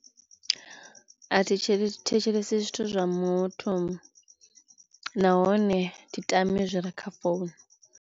A thi tshele thetshelesi zwithu zwa muthu nahone thi tami zwi re kha founu.